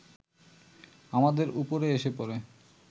আমাদের ওপরে এসে পড়ে